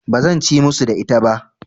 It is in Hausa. Ba zan ci musu da ita ba.